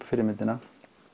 fyrri myndina